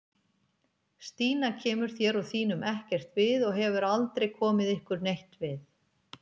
Stína kemur þér og þínum ekkert við og hefur aldrei komið ykkur neitt við